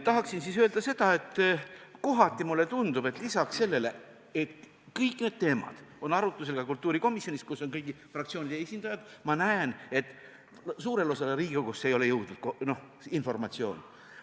Tahan öelda seda, et kohati mulle tundub, et kuigi kõik need teemad on arutlusel olnud ka kultuurikomisjonis, kus on kõigi fraktsioonide esindajad, suure osani Riigikogust see informatsioon ei ole jõudnud.